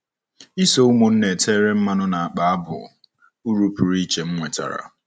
Iso ụmụnna e tere mmanụ na-akpa bụ uru pụrụ iche m nwetara.